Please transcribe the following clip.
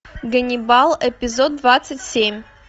ганнибал эпизод двадцать семь